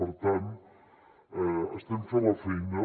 per tant estem fent la feina